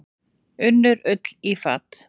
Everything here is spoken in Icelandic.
Unnu Ull í fat.